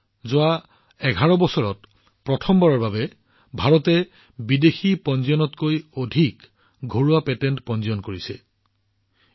ভাৰতত যোৱা ১১ বছৰত প্ৰথমবাৰৰ বাবে বিদেশী ফাইলিঙতকৈ ঘৰুৱা পেটেন্ট ফাইলিঙৰ সংখ্যা অধিক দেখা গৈছে